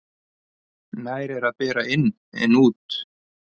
Nær er að bera inn en út.